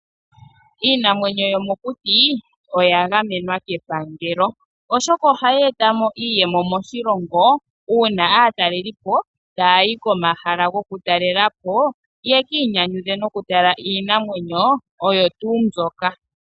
Iinamwenyo yo mokuti oya gamenwa kepangelo, oshoka oha yi eta mo iiyemo moshilongo, uuna aatalelipo taa yi komahala goku talela po, yeki inyanyidhe noku tala iinamwenyo oyo tuu mbyoka.